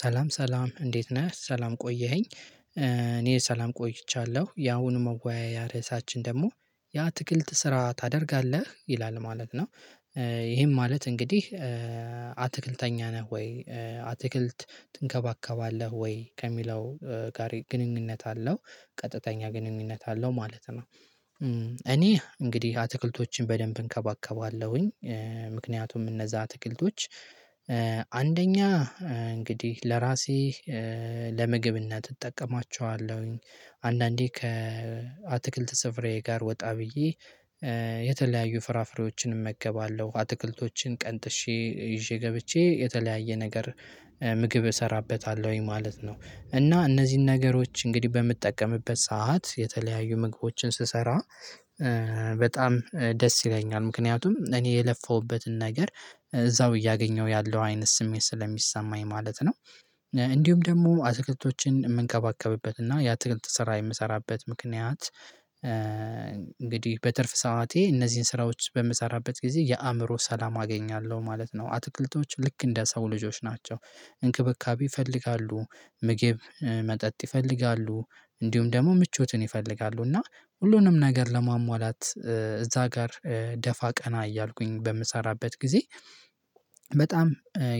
ሰላም ሰላም እንዴት ነህ ሰላም ቆየኸኝ። እኔ ሰላም ቆይቻለሁ ያሁኑ መወያያ ርዕሳችን ደግሞ ያአትክልት ስራ ታደርጋለህ ይላል ማለት ነው። ይሄም ማለት እንግዲህ አትክልተኛ ነህ ወይ? አትክልት ትንከባከባለህ ወይ ከሚለው ጋር ግንኙነት አለው ቀጥተኛ ግንኙነት አለው ማለት ነው። እኔ እንግዲህ አትክልቶችን በደንብ እንከባከባለሁኝ። ምክንያቱም እነዛ አትክልቶች አንደኛ እንግዲህ ለራሴ ለምግብና እጠቀማቸዋለሁኝ። አንዳንዴ ከአትክልት ስፍራየ ጋር ወጣ ብዬ። የተለያዩ ፍራፍሬዎችን እመገባለሁ አትክልቶችን ቀንጥሼ ይዤ ገብቼ የተለያየ ነገር ምግብ እሰራበታለሁኝ ማለት ነው። እና እነዚህን ነገሮች እንግዲህ በምጠቀምበት ሰዓት የተለያዩ ምግቦችን ስሰራ። በጣም ደስ ይለኛል ምክንያቱም እኔ የለፈሁበትን ነገር እዛው እያገኘሁ ያለው አይነት ስሜት ስለሚሰማኝ ማለት ነው። እንዲሁም ደግሞ አትክልቶችን የምንከባከብበት እና ያትክልት ስራ የምሰራበት ምክንያት። እንግዲህ በትርፍ ሰዓቴ እነዚህን ስራዎች በምሰራበት ጊዜ የአእምሮ ሰላም አገኛለሁ ማለት ነው። አትክልቶቹ ልክ እንደ ሰው ልጆች ናቸው። እንክብካቤ ይፈልጋሉ ምግብ መጠጥ ይፈልጋሉ እንዲሁም ደግሞ ምቾትን ይፈልጋሉ እና ሁሉንም ነገር ለማሟላት እዛ ጋር ደፋ ቀና እያልኩኝ በምሰራበት ጊዜ። በጣም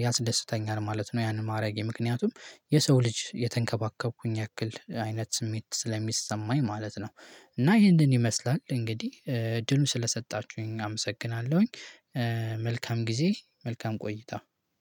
ያስደስተኛል ማለት ነው። ያን ማረጌ ምክንያቱም የሰው ልጅ የተንከባከብኩኝ ያክል አይነት ስሜት ስለሚሰማኝ ማለት ነው። እና ይሄንን ይመስላል እንግዲህ እድሉን ስለሰጣችሁኝ አመሰግናለሁኝ። መልካም ጊዜ መልካም ቆይታ።